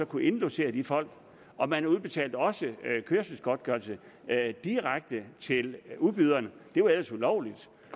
kunne indlogere de folk og man udbetalte også kørselsgodtgørelse direkte til udbyderne det var ellers ulovligt